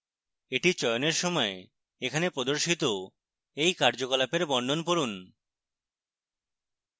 এটি চয়নের সময় এখানে প্রদর্শিত এই কার্যকলাপের বর্ণন পড়ুন